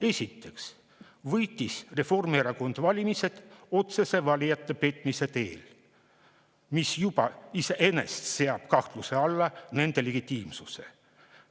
Esiteks võitis Reformierakond valimised valijate otsese petmise teel, mis juba iseenesest seab kahtluse alla nende legitiimsuse.